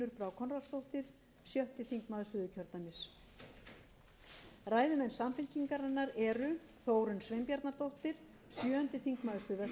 norðvesturkjördæmis í þeirri þriðju unnur brá konráðsdóttir sjötti þingmaður suðurkjördæmis ræðumenn samfylkingarinnar eru þórunn sveinbjarnardóttir sjöundi þingmaður suðvesturkjördæmis í fyrstu umferð sigríður ingibjörg ingadóttir fjórði þingmaður reykjavíkurkjördæmis suður